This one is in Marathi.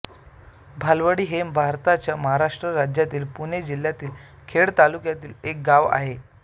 भालावडी हे भारताच्या महाराष्ट्र राज्यातील पुणे जिल्ह्यातील खेड तालुक्यातील एक गाव आहे